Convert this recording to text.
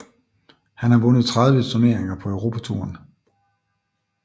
Han har vundet 30 turneringer på Europatouren